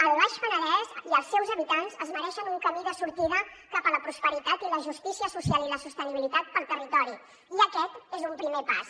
el baix penedès i els seus habitants es mereixen un camí de sortida cap a la prosperitat i la justícia social i la sostenibilitat pel territori i aquest és un primer pas